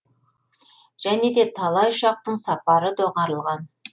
және де талай ұшақтың сапары доғарылған